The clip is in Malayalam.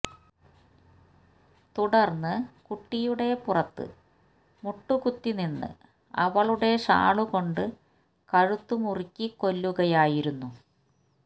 തുടര്ന്ന് കുട്ടിയുടെ പുറത്ത് മുട്ടികുത്തിനിന്ന് അവളുടെ ഷാള്കൊണ്ട് കഴുത്ത് മുറുക്കി കൊല്ലുകയായിരുന്നു